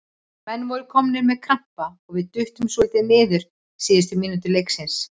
Menn voru komnir með krampa og við duttum svolítið niður síðustu mínútur leiksins.